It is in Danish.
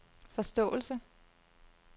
forståelse